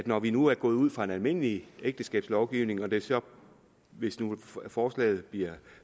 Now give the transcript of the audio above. når vi nu er gået ud fra en almindelig ægteskabslovgivning at det så hvis nu forslaget bliver